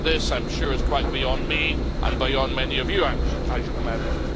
This, I'm sure, is quite beyond me and beyond many of you, I should imagine.